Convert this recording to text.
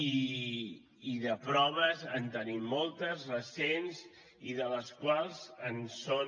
i de proves en tenim moltes recents i de les quals en són